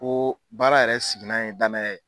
Ko baara yɛrɛ sigina ye, danaya ye.